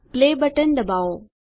play button દબાવો